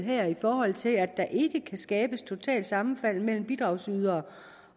her i forhold til at der ikke kan skabes totalt sammenfald mellem bidragsydere